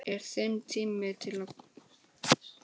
Er þinn tími kominn núna?